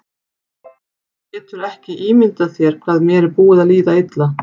Þú getur ekki ímyndað þér hvað mér er búið að líða illa!